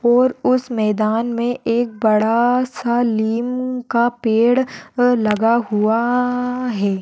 और उस मैदान मे एक बड़ा सा लिम का पेड़ अ लगा हुआ है।